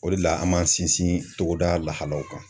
O de la, an m'an sinsin togoda la lahalaw kan.